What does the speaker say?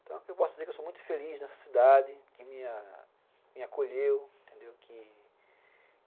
Então eu posso dizer que eu sou muito feliz nessa cidade, que me acolheu, entendeu?